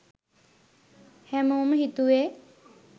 හැමෝම හිතුවේ